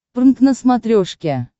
прнк на смотрешке